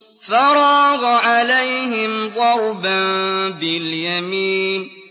فَرَاغَ عَلَيْهِمْ ضَرْبًا بِالْيَمِينِ